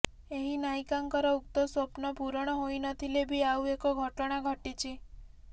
ଏହି ନାୟିକାଙ୍କର ଉକ୍ତ ସ୍ୱପ୍ନ ପୂରଣ ହୋଇନଥିଲେ ବି ଆଉ ଏକ ଘଟଣା ଘଟିଛି